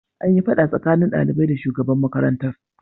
An yi fada tsakanin daliban da shugaban makarantar.